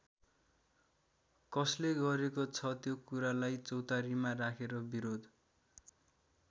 कसले गरेको छ त्यो कुरालाई चौतारीमा राखेर बिरोध?